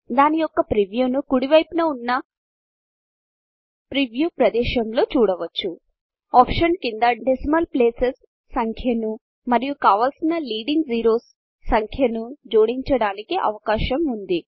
దాని యొక్క ప్రీవ్యూను కుడి వైపున చిన్న ప్రీవ్యూ ప్రదేశములో చూడవచ్చు Optionsఆప్షన్స్ క్రింద డెసిమల్ placesడెసిమల్ ప్లేసస్ సంఖ్యను మరియు కావలసిన లీడింగ్ zeroesలీడింగ్ జిరోస్ సంఖ్యను జోడించడానికి అవకాశం ఉంది